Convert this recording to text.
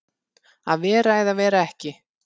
Að vera eða vera ekki